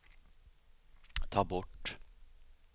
ta bort